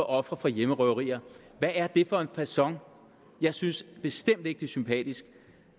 ofre for hjemmerøverier hvad er det for en facon jeg synes bestemt ikke det er sympatisk